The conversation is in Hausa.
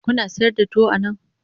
Kuna sayar da tuwo a nan?